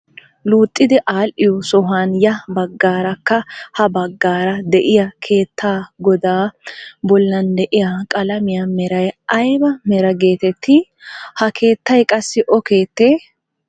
Luuxxidi adhiyoo sohuwaan ya baggaarakka ha baggaara diyaa keettaa godaa bollan diyaa qalamiyaa meray ayba meraa getettii? Ha keettay qassi o keettay?